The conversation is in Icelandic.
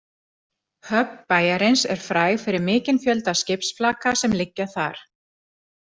Höfn bæjarins er fræg fyrir mikinn fjölda skipsflaka sem liggja þar.